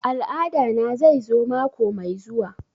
Al'ada na zai zo mako mai zuwa